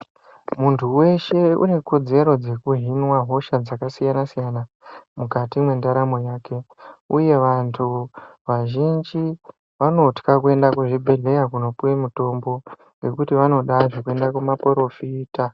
Muntu weshe unekodzero dzeku hinwa hosha dzakasiyana -siyana mukati mwendaramo yake. Uye vantu vazhinji vanotwya kuenda kuzvibhedhleya kunopuwa mutombo ngekuti vanoda zvekuenda kumaporofita.